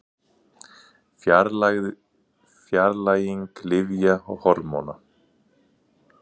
Fjarlæging lyfja og hormóna.